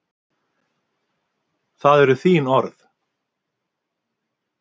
Það eru þín orð.